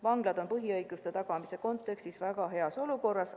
Vanglad on põhiõiguste tagamise kontekstis väga heas olukorras.